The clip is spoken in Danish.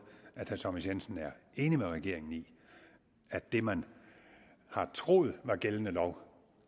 at herre thomas jensen er enig med regeringen i at det man har troet var gældende lov